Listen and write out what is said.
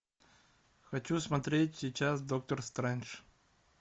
хочу смотреть сейчас доктор стрэндж